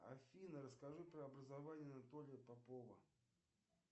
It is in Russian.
афина расскажи про образование анатолия попова